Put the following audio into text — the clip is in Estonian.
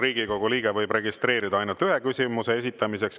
Riigikogu liige võib registreeruda ainult ühe küsimuse esitamiseks.